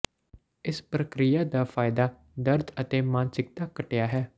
ਇਸ ਪ੍ਰਕਿਰਿਆ ਦਾ ਫਾਇਦਾ ਦਰਦ ਅਤੇ ਮਾਨਸਿਕਤਾ ਘਟਿਆ ਹੈ